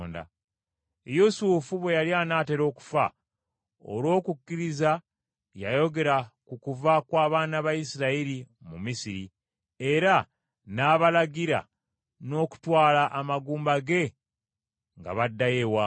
Yusufu bwe yali anaatera okufa, olw’okukkiriza yayogera ku kuva kw’abaana ba Isirayiri mu Misiri, era n’abalagira n’okutwala amagumba ge nga baddayo ewaabwe.